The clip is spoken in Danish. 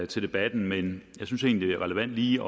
til debatten men jeg synes egentlig det er relevant lige